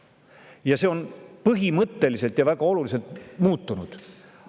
Ja nüüd on see põhimõtteliselt ja väga olulisel määral muutunud.